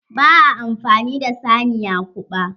Ba a amfani da saniya kuɓa.